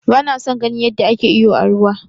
Ba na son ganin yadda ake iyo a ruwa.